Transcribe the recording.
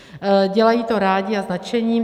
Dělají to rádi a s nadšením.